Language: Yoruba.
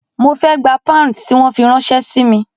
Mo fe gba pounds tí wọ́n fi ráńṣẹ́ si mi.